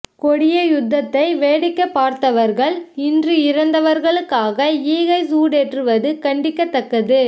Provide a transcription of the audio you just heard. கொடிய யுத்தத்தை வேடிக்கை பார்த்தவர்கள் இன்று இறந்தவர்களுக்காக ஈகைச் சுடரேற்றுவது கண்டிக்கத்தக்கது